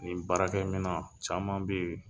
Nin baarakɛ minan caman be yen